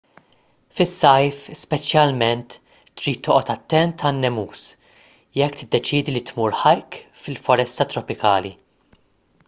fis-sajf speċjalment trid toqgħod attent għan-nemus jekk tiddeċiedi li tmur hike fil-foresta tropikali